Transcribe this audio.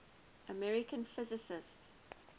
american physicists